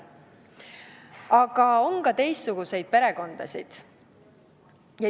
Aga on ka teistsuguseid perekondasid.